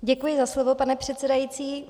Děkuji za slovo, pane předsedající.